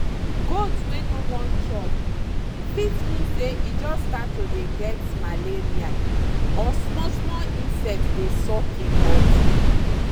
goat wey no wan chop fit mean say e just start to dey get malaria or small small insect dey suck im body.